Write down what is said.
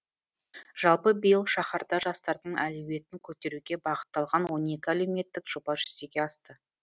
жалпы биыл шаһарда жастардың әлеуетін көтеруге бағытталған он екі әлеуметтік жоба жүзеге асты